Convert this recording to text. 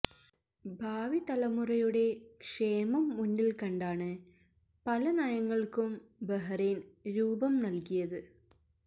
ഭാവി തലമുറയുടെ ക്ഷേമം മുന്നില്ക്കണ്ടാണ് പല നയങ്ങൾക്കും ബഹ്റൈൻ രൂപം നൽകിയത്